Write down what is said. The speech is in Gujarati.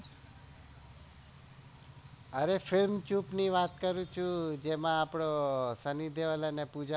અરે film ચૂપ ની વાત કરું છુ જેમાં આપનો સન્ની દેવોલ અને પૂજા